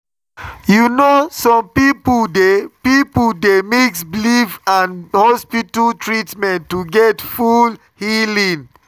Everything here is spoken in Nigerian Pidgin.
you know na some people dey people dey mix belief and hospital treatment to get full healing.